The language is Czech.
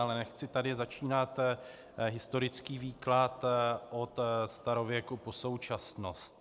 Ale nechci tady začínat historický výklad od starověku po současnost.